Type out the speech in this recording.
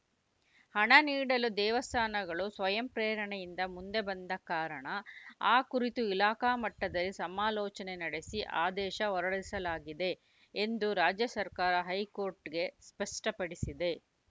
ಹಣ ನೀಡಲು ದೇವಸ್ಥಾನಗಳು ಸ್ವಯಂಪ್ರೇರಣೆಯಿಂದ ಮುಂದೆ ಬಂದ ಕಾರಣ ಆ ಕುರಿತು ಇಲಾಖಾ ಮಟ್ಟದಲ್ಲಿ ಸಮಾಲೋಚನೆ ನಡೆಸಿ ಆದೇಶ ಹೊರಡಿಸಲಾಗಿದೆ ಎಂದು ರಾಜ್ಯ ಸರ್ಕಾರ ಹೈಕೋರ್ಟ್‌ಗೆ ಸ್ಪಷ್ಟಪಡಿಸಿದೆ